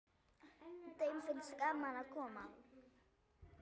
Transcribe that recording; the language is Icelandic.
Þeim finnst gaman að koma.